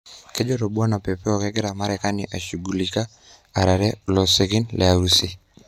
Kejoito Bwana Pompeo kegira marekani ajishugulisha erare losekin le Urusi.